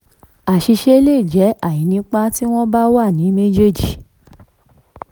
àṣìṣe le jẹ́ àìnípa tí wọ́n bá wà ní méjèèjì.